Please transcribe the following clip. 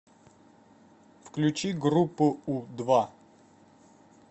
включи группу у два